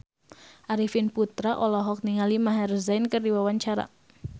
Arifin Putra olohok ningali Maher Zein keur diwawancara